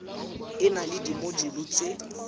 e na le dimojule tse